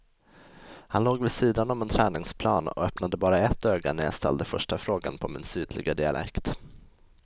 Han låg vid sidan om en träningsplan och öppnade bara ett öga när jag ställde första frågan på min sydliga dialekt.